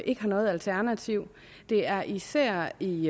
ikke har noget alternativ det er især i